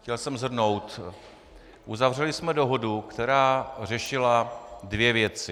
Chtěl jsem shrnout: Uzavřeli jsme dohodu, která řešila dvě věci.